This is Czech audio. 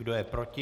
Kdo je proti?